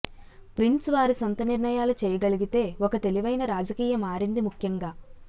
prince వారి సొంత నిర్ణయాలు చేయగలిగితే ఒక తెలివైన రాజకీయ మారింది ముఖ్యంగా